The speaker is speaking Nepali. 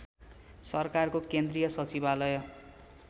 सरकारको केन्द्रीय सचिवालय